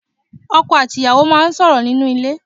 Ọkọ̀ àti ìyàwó máa sọ̀rọ̀ nínú ilé